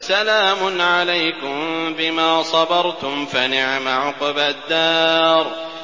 سَلَامٌ عَلَيْكُم بِمَا صَبَرْتُمْ ۚ فَنِعْمَ عُقْبَى الدَّارِ